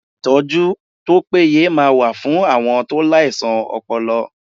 Ìtọ́jú tó péye máa wà fún àwọn tó láìsàn ọpọlọ